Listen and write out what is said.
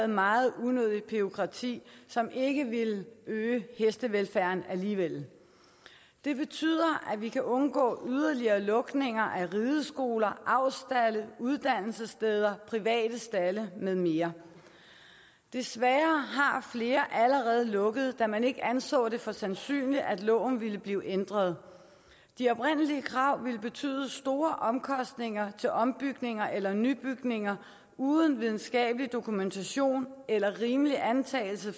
meget unødigt bureaukrati som ikke ville øge hestevelfærden alligevel det betyder at vi kan undgå yderligere lukninger af rideskoler avlsstalde uddannelsessteder private stalde med mere desværre har flere allerede lukket da man ikke anså det for sandsynligt at loven ville blive ændret de oprindelige krav ville betyde store omkostninger til ombygninger eller nybygninger uden videnskabelig dokumentation eller en rimelig antagelse